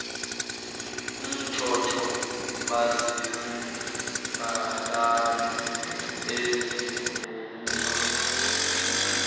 emtsotso baziziqalane ezibhuzwa